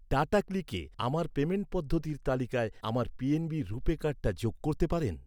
টাটাক্লিকে আমার পেমেন্ট পদ্ধতির তালিকায় আমার পিএনবি রূপে কার্ডটা যোগ করতে পারেন?